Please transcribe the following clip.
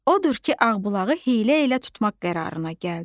Odur ki, Ağbulağı hiylə ilə tutmaq qərarına gəldi.